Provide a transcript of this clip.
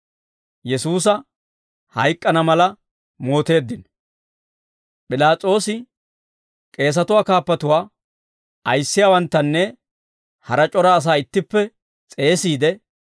P'ilaas'oosi k'eesatuwaa kaappatuwaa, ayissiyaawanttanne hara c'ora asaa ittippe s'eesiide,